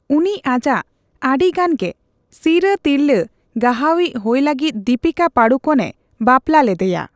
ᱩᱱᱤ ᱟᱡᱟᱜ ᱟᱹᱰᱤ ᱜᱟᱱ ᱜᱮ ᱥᱤᱨᱟᱹ ᱛᱤᱨᱞᱟᱹ ᱜᱟᱦᱟᱣᱤᱪ ᱦᱳᱭ ᱞᱟᱹᱜᱤᱫ ᱫᱤᱯᱤᱠᱟ ᱯᱟᱰᱩᱠᱳᱱ ᱮ ᱵᱟᱯᱞᱟ ᱞᱮᱫᱮᱭᱟ ᱾